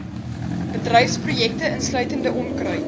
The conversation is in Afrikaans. bedryfsprojekte insluitende onkruid